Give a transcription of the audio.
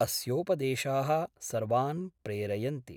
अस्योपदेशाः सर्वान् प्रेरयन्ति।